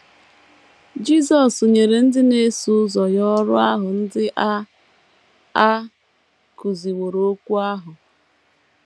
Jisọs nyere ndị na - eso ụzọ ya ọrụ ahụ ndị a a kụziwooro ‘ okwu ’ ahụ.